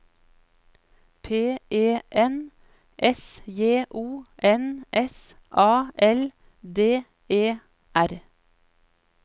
P E N S J O N S A L D E R